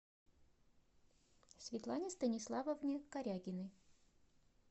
светлане станиславовне корягиной